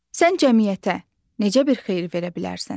Sən cəmiyyətə necə bir xeyir verə bilərsən?